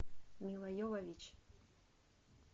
милла йовович